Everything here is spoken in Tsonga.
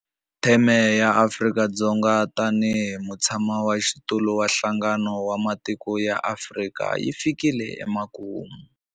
Theme ya Afrika-Dzonga tanihi mutshamaxitulu wa Nhlangano wa Matiko ya Afrika yi fikile emakumu.